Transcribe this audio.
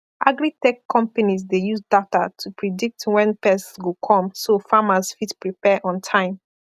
agritech companies dey use data to predict when pests go come so farmers fit prepare on time